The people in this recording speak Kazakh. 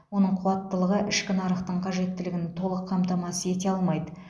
оның қуаттылығы ішкі нарықтың қажеттілігін толық қамтамасыз ете алмайды